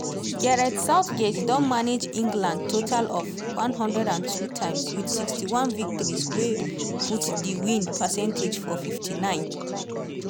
gareth southgate don manage england total of one hundred and two times wit sixty one victories wey put di win percentage for fifty nine.